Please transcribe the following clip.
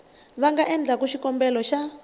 va nga endlaku xikombelo xa